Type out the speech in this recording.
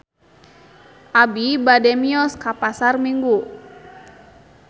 Abi bade mios ka Pasar Minggu